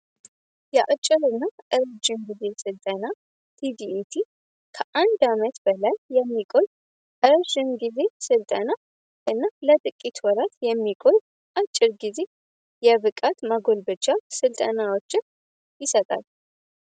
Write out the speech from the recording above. የአጭር እና እርዥን ጊዜ ስልጠና tዲat ከአንድ አመት በላይ የሚቆል እርዥን ጊዜ ስልጠና እና ለጥቂት ወረት የሚቆይ አጭር ጊዜ የቭቃት መጎል ብቻ ሥልጠናዎችን ይሰጣል።